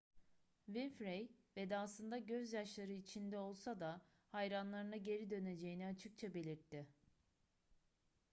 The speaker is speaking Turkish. winfrey vedasında gözyaşları içinde olsa da hayranlarına geri döneceğini açıkça belirtti